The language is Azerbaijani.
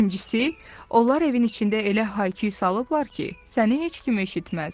İkincisi, onlar evin içində elə hay küy salıblar ki, səni heç kim eşitməz."